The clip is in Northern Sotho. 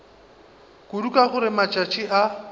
kudu ka gore matšatši a